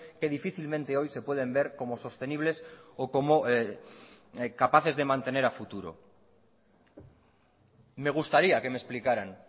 que difícilmente hoy se pueden ver como sostenibles o como capaces de mantener a futuro me gustaría que me explicaran